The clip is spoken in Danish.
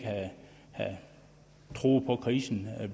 troede på at krisen